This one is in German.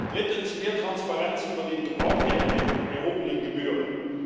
Drittens mehr Transparenz über den Gebrauch der erhobenen Gebühren.